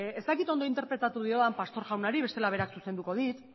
ez dakit ondo interpretatu diodan pastor jaunari bestela berak zuzenduko dit